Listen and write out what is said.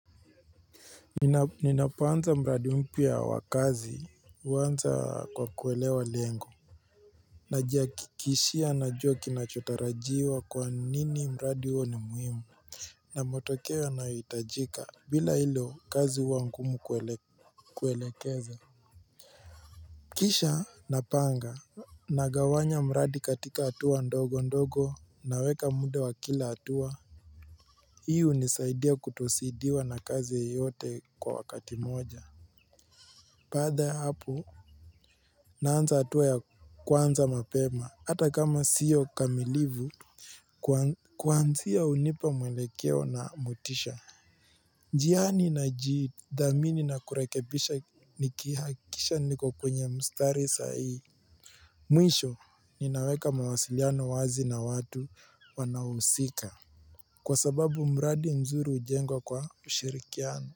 Ninapoanza mradi mpya wa kazi, huanza kwa kuelewa lengo. Najihakikishia najua kinachotarajiwa kwa nini mradi huo ni muhimu. Na matokeo yanayohitajika. Bila hilo, kazi huwa ngumu kuelekeza. Kisha napanga, nagawanya mradi katika hatua ndogo ndogo, naweka muda wa kila hatua. Hii hunisaidia kutozidiwa na kazi yoyote kwa wakati moja. Baada ya hapo, naanza hatua ya kwanza mapema. Hata kama sio kamilivu kuanzia hunipa mwelekeo na motisha. Njiani najidhamini na kurekebisha nikihakikisha niko kwenye mstari sahii. Mwisho, ninaweka mawasiliano wazi na watu wanaohusika, kwa sababu mradi mzuri hujengwa kwa ushirikiano.